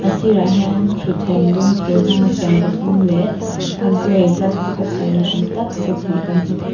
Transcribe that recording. a sirah hian thuthleng dum thir hmang a siam pathum leh a gray plastic a siam ni awm tak set hnih kan hmu thei--